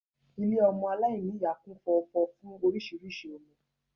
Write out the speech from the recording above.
Ilé ọmọ aláìníyàá kún fọ́fọ́ fún orísìírísìí ọmọ